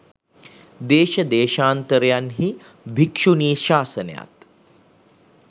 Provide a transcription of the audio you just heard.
දේශ දේශාන්තරයන් හි භික්‍ෂුණී ශාසනයත්